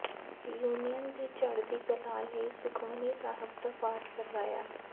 union ਦੀ ਚੜ੍ਹਦੀ ਕਲਾ ਲਈ ਸੁਖਮਨੀ ਸਾਹਿਬ ਦਾ ਪਾਠ ਕਰਵਾਇਆ